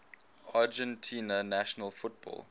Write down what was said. argentina national football